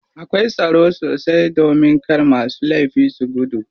Akwai tsaro sosai domin kar masu laifi su gudu.